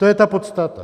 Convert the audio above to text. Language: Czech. To je ta podstata.